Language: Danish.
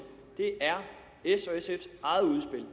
det er s og sfs eget udspil